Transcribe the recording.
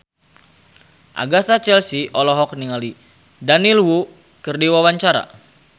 Agatha Chelsea olohok ningali Daniel Wu keur diwawancara